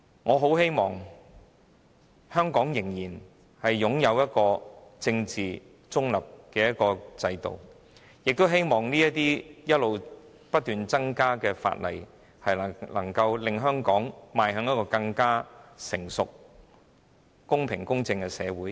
我很希望香港能夠繼續擁有政治中立的制度，亦希望不斷新增的法例能令香港成為更成熟、公平、公正的社會。